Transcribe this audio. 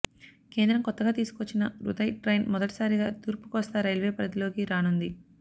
కేంద్రం కొత్తగా తీసుకొచ్చిన ఉదయ్ ట్రైన్ మొదటిసారిగా తూర్పుకోస్తా రైల్వే పరిధిలోకి రానుంది